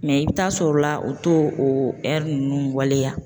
Mɛ i bɛ taa sɔr'o la o t'o o ɛri ninnu waleya